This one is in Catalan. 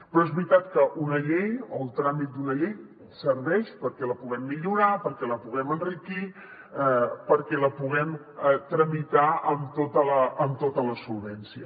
però és veritat que una llei o el tràmit d’una llei serveix perquè la puguem millorar perquè la puguem enriquir perquè la puguem tramitar amb tota la solvència